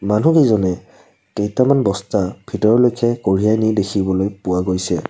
মনুহকেইজনে কেইটামান বস্তা ভিতৰলৈকে কঢ়িয়াই নি দেখিবলৈ পোৱা গৈছে।